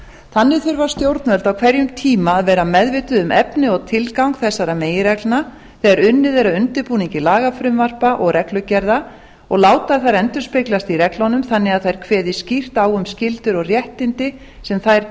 þannig þurfa stjórnvöld á hverjum tíma að vera meðvituð um efni og tilgang þessara meginreglna þegar unnið er að undirbúningi lagafrumvarpa og reglugerða og láta þær endurspeglast í reglunum þannig að þær kveði skýrt á um skyldur og réttindi sem þær